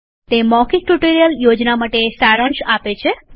તે મૌખિક tutorial project માટે સારાંશ આપે છે